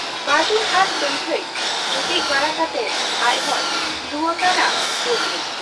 ᱵᱟᱹᱡᱩᱱ ᱟᱨ ᱥᱟᱹᱝᱠᱷᱟᱹᱭ ᱡᱩᱴᱤᱡ ᱵᱟᱲᱟ ᱠᱟᱛᱮ ᱟᱡᱦᱚᱸᱭ ᱞᱩᱣᱟᱠᱟ ᱦᱟᱱᱟ ᱰᱩᱢᱱᱤ ᱾